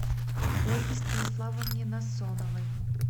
ольге станиславовне насоновой